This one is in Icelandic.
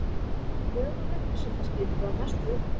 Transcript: Lög um upplýsingaskyldu að mestu uppfyllt